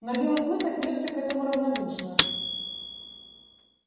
но белый клык отнёсся к этому равнодушно